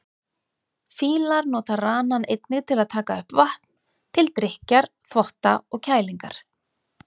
Fílar nota ranann einnig til að taka upp vatn, til drykkjar, þvotta og kælingar.